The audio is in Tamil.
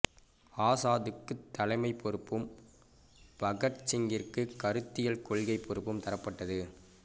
ஆசாதுக்குப் தலைமைப் பொறுப்பும் பகத் சிங்கிற்குக் கருத்தியல் கொள்கைப் பொறுப்பும் தரப்பட்டது